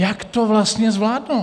Jak to vlastně zvládnou?